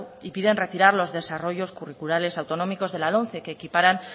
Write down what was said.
y piden retirar los desarrollos curriculares autonómicos de la lomce que equiparan